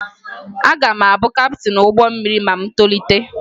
Aga m abụ kaptịn ụgbọ mmiri ma m tolite